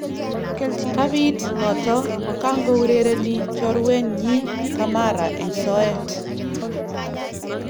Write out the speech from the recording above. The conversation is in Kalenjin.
Kabiit noto kangourereni choruenyi kamara eng soet